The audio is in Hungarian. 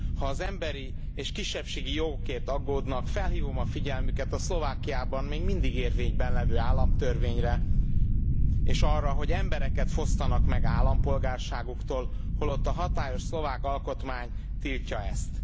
Ha az emberi és kisebbségi jogokért aggódnak, felhívom a figyelmüket a Szlovákiában még mindig érvényben levő államtörvényre, és arra, hogy embereket fosztanak meg állampolgárságuktól, holott a hatályos szlovák alkotmány tiltja ezt.